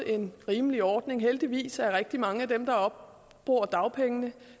en rimelig ordning heldigvis falder rigtig mange af dem der opbruger dagpengeretten